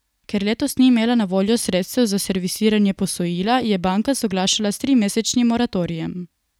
Ker letos ni imela na voljo sredstev za servisiranje posojila, je banka soglašala s trimesečnim moratorijem.